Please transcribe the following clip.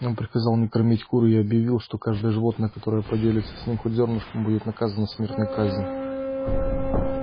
он приказал не кормить кур и объявил что каждое животное которое поделится с ними хоть зёрнышком будет наказано смертной казнью